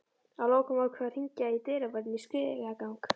Að lokum ákveð ég að hringja í dyravörðinn í stigagang